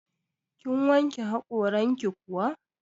Kin wanke haƙoranki kuwa?